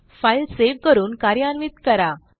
file save करून कार्यान्वित करा